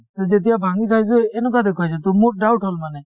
to যেতিয়া ভাঙি চাইছো এনেকুৱা দেখুৱাইছে to মোৰ doubt হল মানে